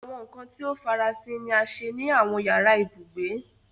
Awọn nkan ti o farasin ni a ṣe ni awọn yara ibugbe